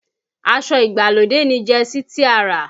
Aṣọ ìgbàlódé ni jẹsí tí a rà